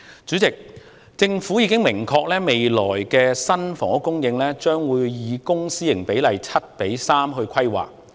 主席，政府已經表明未來新的房屋供應將會以公私營比例為 7：3 來規劃。